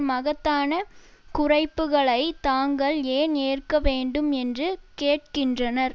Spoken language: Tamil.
மகத்தான குறைப்புக்களை தாங்கள் ஏன் ஏற்க வேண்டும் என்று கேட்கின்றனர்